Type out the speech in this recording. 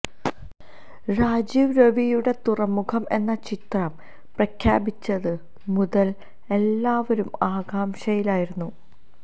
രാജീവ് രവിയുടെ തുറമുഖം എന്ന ചിത്രം പ്രഖ്യാപിച്ചതു മുതൽ എല്ലാവരും ആകാംക്ഷയിലായിരുന്നു